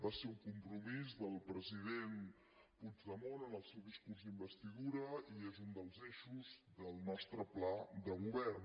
va ser un compromís del president puigdemont en el seu discurs d’investidura i és un dels eixos del nostre pla de govern